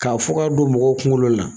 K'a fɔ ka don mɔgɔ kunkolo la.